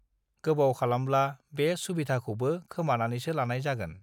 गोबाव खालामब्ला बे सुविधाखौबो खोमानानैसो लानाय जागोन